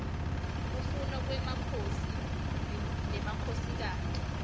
kufa kwemakhosi nemakhosikati